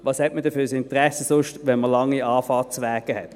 Was hat man denn sonst für ein Interesse, wenn man lange Anfahrtswege hat?